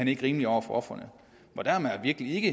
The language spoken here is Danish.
ikke rimeligt over for ofrene og der har man da virkelig ikke